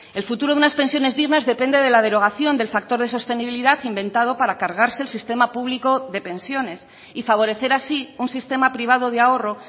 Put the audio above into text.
el futuro de unas pensiones dignas depende de la derogación del factor de sostenibilidad inventado para cargarse el sistema público de pensiones y favorecer así un sistema privado de ahorro